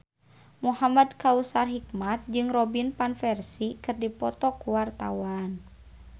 Muhamad Kautsar Hikmat jeung Robin Van Persie keur dipoto ku wartawan